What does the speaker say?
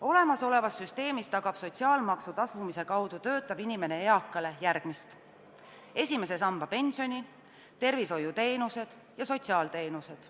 Olemasolevas süsteemis tagab töötav inimene sotsiaalmaksu tasumise kaudu eakale järgmist: esimese samba pensioni, tervishoiuteenused ja sotsiaalteenused.